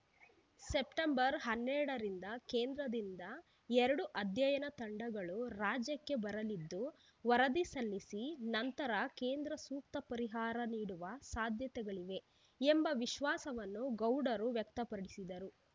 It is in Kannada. ಸೆಪ್ಟೆಂಬರ್ ಹನ್ನೆರಡರಿಂದ ಕೇಂದ್ರದಿಂದ ಎರಡು ಆಧ್ಯಯನ ತಂಡಗಳು ರಾಜ್ಯಕ್ಕೆ ಬರಲಿದ್ದು ವರದಿ ಸಲ್ಲಿಸಿದ ನಂತರ ಕೇಂದ್ರ ಸೂಕ್ತ ಪರಿಹಾರ ನೀಡುವ ಸಾಧ್ಯತೆಗಳಿವೆ ಎಂಬ ವಿಶ್ವಾಸವನ್ನು ಗೌಡರು ವ್ಯಕ್ತಪಡಿಸಿದರು